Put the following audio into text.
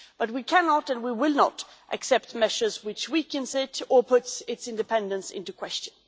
but we cannot and we will not accept measures which weakens it or puts its independence into question.